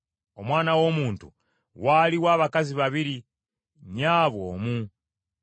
“Omwana w’omuntu waaliwo abakazi babiri, nnyabwe omu,